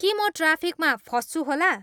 के म ट्राफिकमा फँस्छु होला